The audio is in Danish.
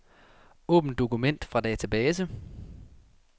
Åbn dokument fra database.